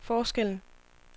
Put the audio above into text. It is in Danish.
forskellen